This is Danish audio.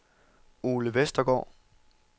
Ole Vestergaard